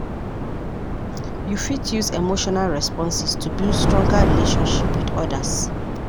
You fit use emotional responses to build stronger relationship with others.